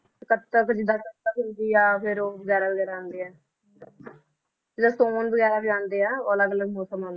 ਤੇ ਕੱਤਕ ਜਿੱਦਾਂ ਕੱਤਕ ਫਿਰ ਉਹ ਆਉਂਦੇ ਆ ਜਿੱਦਾਂ ਸਉਣ ਵਗ਼ੈਰਾ ਵੀ ਆਉਂਦੇ ਆ, ਉਹ ਅਲੱਗ ਅਲੱਗ ਮੌਸਮ ਆ